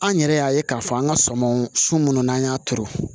An yɛrɛ y'a ye k'a fɔ an ka sɔmɔn su mun n'an y'a turu